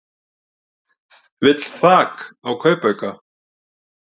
Vill þak á kaupauka